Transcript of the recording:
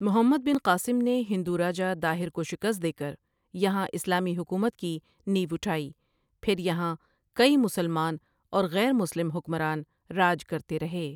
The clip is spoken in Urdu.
محمد بن قاسم نے ہندو راجا داہر کو شکست دے کر یہاں اسلامی حکومت کی نیو اٹھائی پھر یہاں کئی مسلمان اور غیر مسلم حکمران راج کرتے رہے۔